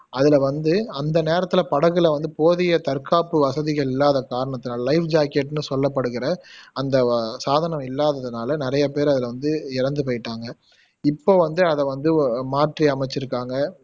அதுல வந்து அந்த நேரத்துல படகுல வந்து போதிய தற்காப்பு வசதிகள் இல்லாத காரணத்துனால லைஃப் ஜாக்கெட்னு சொல்லப்படுகிற அந்த வ சாதனம் இல்லாததுனல நிறைய பேரு அதுல வந்து இறந்து போயிட்டாங்க இப்போ வந்து அத வந்து மாற்றி அமைச்சுருக்காங்க